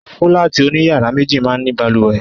Fúláàtì oní yàrá méjì máa ń ní balùwẹ̀.